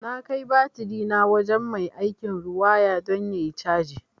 Na kai batirina wajen mai aikin riwaya don ayi caji